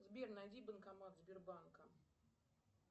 сбер найди банкомат сбербанка